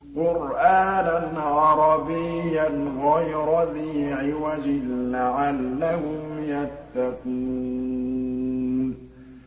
قُرْآنًا عَرَبِيًّا غَيْرَ ذِي عِوَجٍ لَّعَلَّهُمْ يَتَّقُونَ